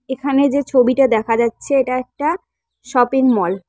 এখানে যে ছবিটা দেখা যাচ্ছে এটা একটা শপিং মল ।